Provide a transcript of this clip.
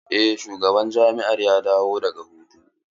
Eh shugaban jami'ar ya dawo daga hutu.